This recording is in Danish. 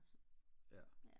ja